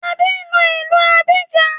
Adé ń lọ ìlú Abidjan